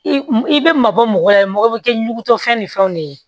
I i bɛ mabɔ mɔgɔ la ye mɔgɔ bɛ kɛ ɲugutɔfɛn ni fɛnw de ye